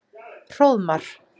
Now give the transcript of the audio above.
Hróðmar